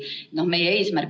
Eduard Odinets, palun!